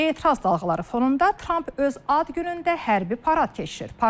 Etiraz dalğaları fonunda Tramp öz ad günündə hərbi parad keçirir.